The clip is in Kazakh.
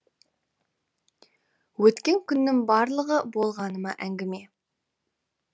өткен күннің барлығы болғаныма әңгіме